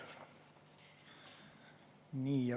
Nii.